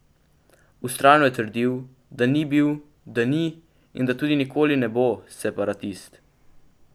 Vztrajno je trdil, da ni bil, da ni in da tudi nikoli ne bo separatist.